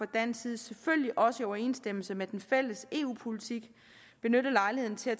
dansk side selvfølgelig også i overensstemmelse med den fælles eu politik benyttet lejligheden til at